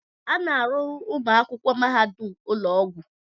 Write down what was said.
A na-arụrụ ụmụ akwụkwọ mahadum ụlọ ọgwụ.